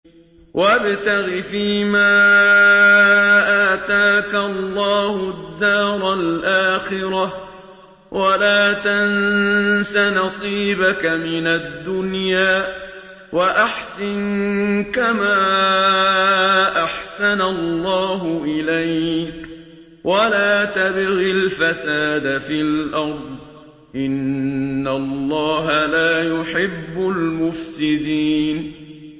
وَابْتَغِ فِيمَا آتَاكَ اللَّهُ الدَّارَ الْآخِرَةَ ۖ وَلَا تَنسَ نَصِيبَكَ مِنَ الدُّنْيَا ۖ وَأَحْسِن كَمَا أَحْسَنَ اللَّهُ إِلَيْكَ ۖ وَلَا تَبْغِ الْفَسَادَ فِي الْأَرْضِ ۖ إِنَّ اللَّهَ لَا يُحِبُّ الْمُفْسِدِينَ